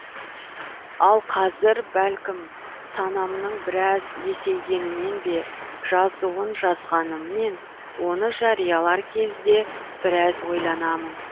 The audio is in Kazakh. ал қазір бәлкім санамның біраз есейгенінен бе жазуын жазғаныммен оны жариялар кезде біраз ойланамын